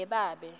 yebabe